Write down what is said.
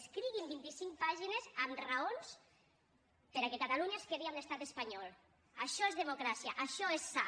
escriguin vint i cinc pàgines amb raons perquè catalunya es quedi amb l’estat espanyol això és democràcia això és sa